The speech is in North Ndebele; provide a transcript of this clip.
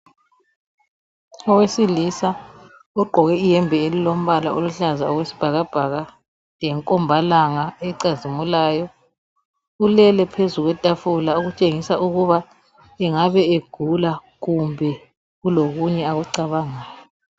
Owesilisa ugqoke iyembe elombala oluhlaza okwesibhakabhaka lenkombalanga ecazimulayo ulele phezu kwetafula okutshengisa ukuba engabe egula kumbe kulokunye akucabangayo.